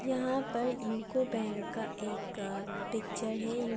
यहाँ पर UCO bank का एक अअ पिक्चर है यू --